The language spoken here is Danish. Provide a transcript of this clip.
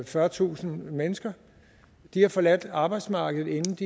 fyrretusind mennesker har forladt arbejdsmarkedet